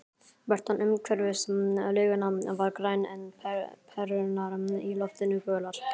Birtan umhverfis laugina var græn, en perurnar í loftinu gular.